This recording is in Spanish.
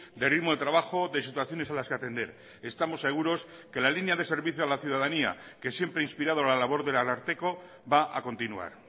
de ritmo de trabajo de situaciones a las que atender estamos seguros que la línea de servicio a la ciudadanía que siempre ha inspirado la labor del ararteko va a continuar